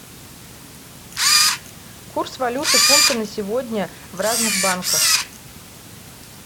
курс валюты фунта на сегодня в разных банках